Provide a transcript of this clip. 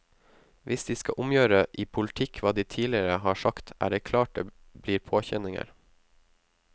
Hvis de skal omgjøre i politikk hva de tidligere har sagt, er det klart det blir påkjenninger.